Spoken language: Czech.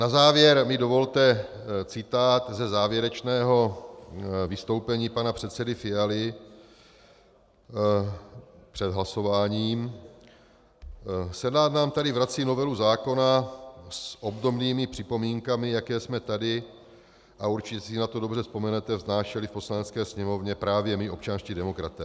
Na závěr mi dovolte citát ze závěrečného vystoupení pana předsedy Fialy před hlasováním: Senát nám tady vrací novelu zákona s obdobnými připomínkami, jaké jsme tady, a určitě si na to dobře vzpomenete, vznášeli v Poslanecké sněmovně právě my občanští demokraté.